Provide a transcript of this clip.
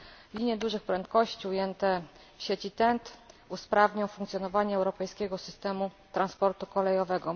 Linie dużych prędkości ujęte w sieci TEN T usprawnią funkcjonowanie europejskiego systemu transportu kolejowego.